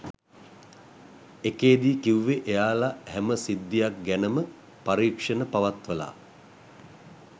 එකේදී කිව්වෙ එයාලා හැම සිද්ධියක් ගැනම පරික්ෂණ පවත්වලා